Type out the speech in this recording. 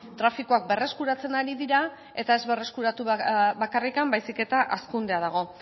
trafikoak berreskuratzen ari dira eta ez berreskuratu bakarrik baizik eta hazkundea dago